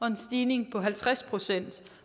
en stigning på halvtreds procent